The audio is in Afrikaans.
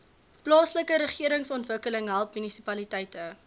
plaaslikeregeringsontwikkeling help munisipaliteite